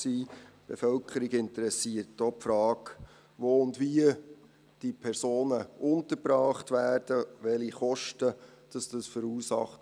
Die Bevölkerung interessiert auch die Frage, wo und wie diese Personen untergebracht werden, welche Kosten das verursacht.